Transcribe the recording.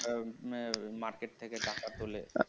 এখানে market থেকে টাকা তোলে